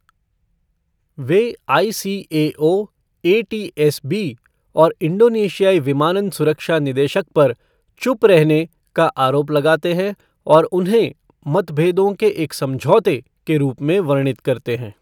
वे ICAO, ATSB और इंडोनेशियाई विमानन सुरक्षा निदेशक पर 'चुप रहने' का आरोप लगाते हैं, और उन्हें 'मतभेदों के एक समझौते' के रूप में वर्णित करते हैं।